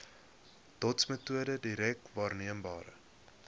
dotsmetode direk waarneembare